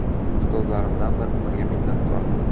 Ustozlarimdan bir umrga minnatdorman.